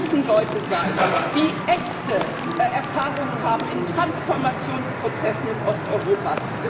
Das müssen Leute sein, die echte Erfahrungen haben in Transformationsprozessen in Osteuropa.